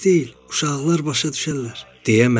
Uşaqlar başa düşərlər,"